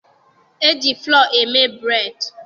E ji fụlọọ eme bureedị.